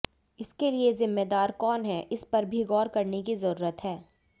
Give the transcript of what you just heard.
इसके लिये जिम्मेदार कौन हैं इस पर भी गौर करने की जरूरत है